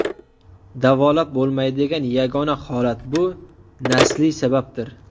Davolab bo‘lmaydigan yagona holat bu nasliy sababdir.